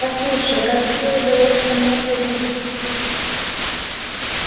послушай как тебе удалось ко мне пробиться